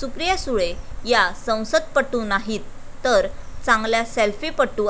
सुप्रिया सुळे या संसदपटू नाहीत तर चांगल्या सेल्फीपटू,